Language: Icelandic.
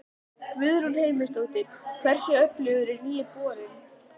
Guðrún Heimisdóttir: Hversu öflugur er nýi borinn?